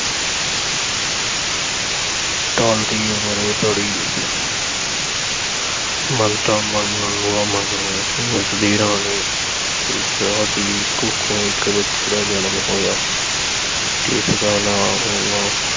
ਢਲਦੀ ਉਮਰੇ ਬੜੀ ਮੰਨਤਾਂ ਮੰਨਣ ਮਗਰੋਂ ਉਸ ਦੀ ਰਾਣੀ ਇੱਛਰਾਂ ਦੀ ਕੁੱਖੋਂ ਇਕ ਬੱਚੇ ਦਾ ਜਨਮ ਹੋਇਆ ਜਿਸ ਦਾ ਨਾਂ ਉਨ੍ਹਾਂ